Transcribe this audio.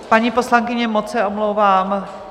Paní poslankyně, moc se omlouvám.